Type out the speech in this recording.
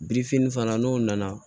Birifini fana n'o nana